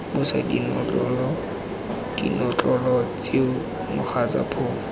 busa dinotlolo tseo mogatsa phofu